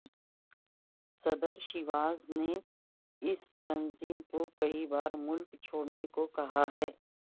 صدر شیواز نے اس تنظیم کو کئی بار ملک چھوڑنے کو کہا ہے